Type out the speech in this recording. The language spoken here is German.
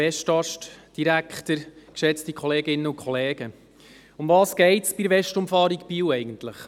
Worum geht es bei der Westumfahrung Biel eigentlich?